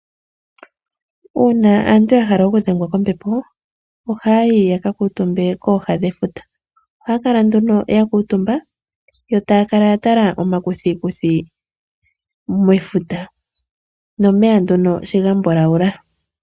Uuna aantu yahala okudhengwa kombepo, ohayi yakakutumbe koha dhefuta, ohakala nduno yakutumba yo takala yatala oma kuthikuthi mefuta momeya nduno sho ngambulawula.